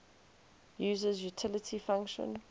user's utility function